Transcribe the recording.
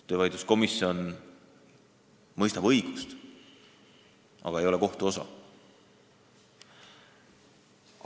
Töövaidluskomisjon mõistab õigust, aga ei ole kohtu osa.